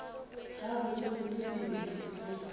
gabotsebotse e be e se